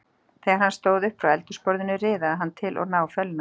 Þegar hann stóð upp frá eldhúsborðinu riðaði hann til og náfölnaði.